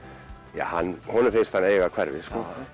honum finnst hann eiga hverfið